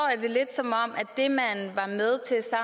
det lidt som